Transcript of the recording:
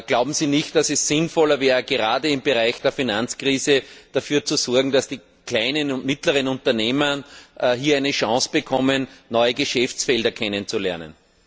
Glauben Sie nicht, dass es sinnvoller wäre, gerade angesichts der Finanzkrise dafür zu sorgen, dass die kleinen und mittleren Unternehmer hier eine Chance bekommen, neue Geschäftsfelder kennenzulernen?